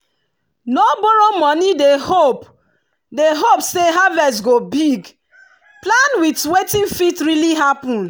no borrow money dey hope dey hope say harvest go big plan with wetin fit really happen.